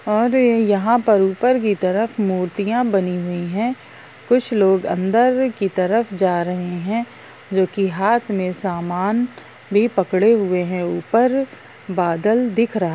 और यहाँ पर ऊपर की तरफ मूर्तियाँ बनी हुई हैंकुछ लोग अंदर की तरफ जा रहे हैं जो कि हाथ मे सामान भी पकड़े हुए हैं ऊपर बादल दिख रहा--